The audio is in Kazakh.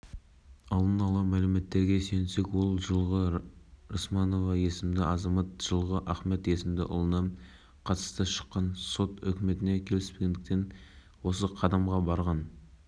ойламаған жерден болған себебі өзін өртеп жібергенге дейін ол ештеңе айтпаған көрінеді әйелге алғашқы көмек